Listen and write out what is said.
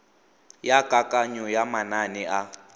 ya kananyo ya manane a